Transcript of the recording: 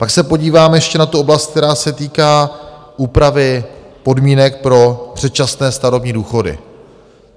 Pak se podíváme ještě na tu oblast, která se týká úpravy podmínek pro předčasné starobní důchody.